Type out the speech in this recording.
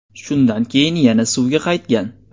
Shundan keyin yana suvga qaytgan.